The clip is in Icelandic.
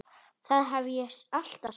Það hef ég alltaf sagt.